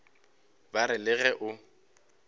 ba re le ge o